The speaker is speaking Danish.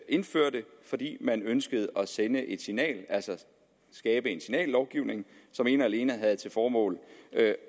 indførte fordi man ønskede at sende et signal altså skabe en signallovgivning som ene og alene havde til formål